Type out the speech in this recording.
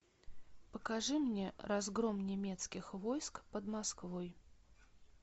покажи мне разгром немецких войск под москвой